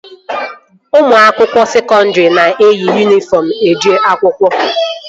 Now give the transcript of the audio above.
Ụmụ akwụkwọ sekọndri na-eyi yunifọm eje akwụkwọ